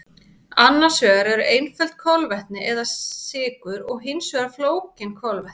Annars vegar eru einföld kolvetni eða sykur og hins vegar flókin kolvetni.